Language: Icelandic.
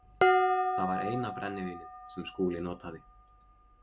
Það var eina brennivínið sem Skúli notaði.